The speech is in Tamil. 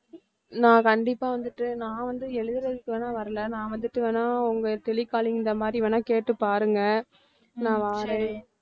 நான் கண்டிப்பா வந்துட்டு நான் வந்து எழுதறதுக்கு வேணா வரல நான் வந்துட்டு வேணா உங்க telecalling இந்த மாதிரி வேணா கேட்டு பாருங்க நான் வாறேன்